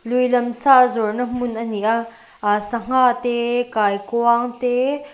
lui lam sa zawrhna hmun a ni a ahh sangha te kaikuang te --